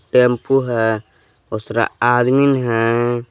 Tempo है बहुत सारा आदमी है।